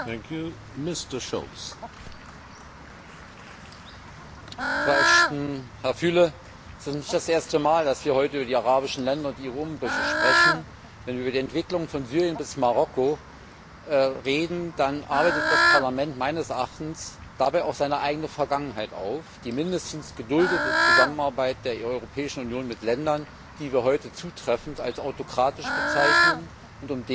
Herr Präsident, Frau Ashton, Herr Füle! Es ist nicht das erste Mal, dass wir heute über die arabischen Länder und die dortigen Umbrüche sprechen. Wenn wir über die Entwicklungen von Syrien bis Marokko reden, dann arbeitet das Parlament meines Erachtens dabei auch seine eigene Vergangenheit auf die mindestens geduldete Zusammenarbeit der Europäischen Union mit Ländern, die wir heute zutreffend als autokratisch bezeichnen und um deren innere Verfasstheit wir uns sorgen.